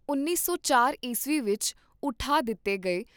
ਉੱਨੀ ਸੌ ਚਾਰ ਈਸਵੀ ਵਿਚ ਉਠਾ ਦਿੱਤੇ ਗਏ